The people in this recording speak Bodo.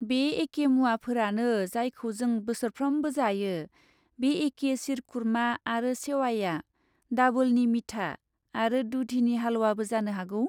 बे एके मुवाफोरानो जायखौ जों बोसोरफ्रोमबो जायो, बे एके शीरकुरमा आरो सेवाइया, डाबोलनि मीठा, आरो दुधीनि हालवाबो जानो हागौ।